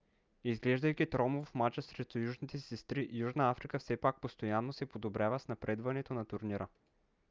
изглеждайки тромаво в мача срещу южните си сестри южна африка все пак постоянно се подобрява с напредването на турнира